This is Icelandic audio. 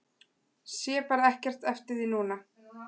Sé bara ekkert eftir því núna.